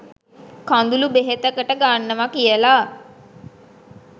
කඳුළු බෙහෙතකට ගන්නව කියල